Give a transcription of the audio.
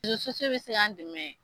bI se K'an dɛmɛ